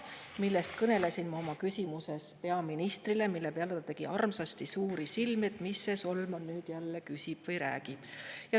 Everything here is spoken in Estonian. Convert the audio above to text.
Ma kõnelesin sellest oma küsimuses peaministrile, mille peale ta tegi armsasti suuri silmi, et mis see Solman nüüd jälle küsib või räägib.